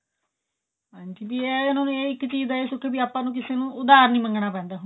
ਹਾਂਜੀ ਵੀ ਇਹ ਹੈ ਉਹਨਾਂ ਨੂੰ ਇੱਕ ਚੀਜ ਦਾ ਇਹ ਸੁੱਖ ਹੈ ਵੀ ਆਪਾਂ ਨੂੰ ਕਿਸੇ ਤੋਂ ਉਧਾਰ ਨਹੀਂ ਮੰਗਣਾ ਪੈਂਦਾ